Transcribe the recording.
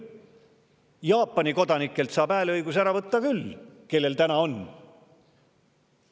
Jaapani kodanikelt, kellel hääleõigus on, saab selle ära võtta küll.